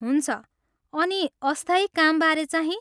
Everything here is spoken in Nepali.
हुन्छ, अनि अस्थायी कामबारे चाहिँ?